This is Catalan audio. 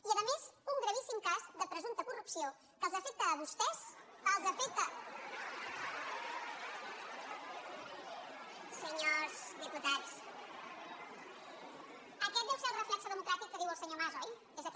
i a més un gravíssim cas de presumpta corrupció que els afecta a vostès aquest deu ser el reflex democràtic que diu el senyor mas oi és aquest